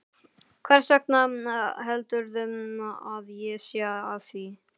Hversvegna heldurðu að ég sé að því?